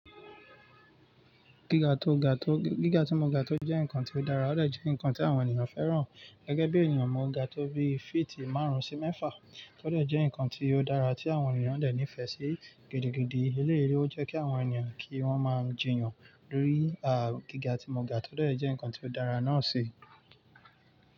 Gíga tó ga tó, gíga tí mo ga tó jẹ́ nǹkan tí ó dára, ó dẹ̀ jẹ́ nǹkan tí àwọn ènìyàn fẹ́ràn. Gẹ́gẹ́ bí ènìyàn, mo ga tó bí fíìtì márùn-ún sí mẹ́fà, tó dẹ̀ jẹ́ nǹkan tí ó dára tí àwọn ènìyàn dẹ̀ nífẹ̀ẹ́ sí. Gidi gidì, elé é jẹ́ kí àwọn ènìyàn kí wọ́n máa jìyàn lórí, à, gíga tí mo ga tó dẹ̀ jẹ́ nǹkan tí ó dára náà ṣi.